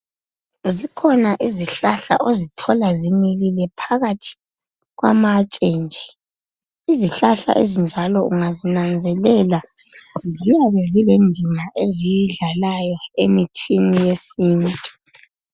Zikhona izihlahla ozithola zimilile phakathi kwamatshe nje, izihlahla ezinjalo ungazinanzelela ziyabe zilendima eziyidlalayo emithini yesintu.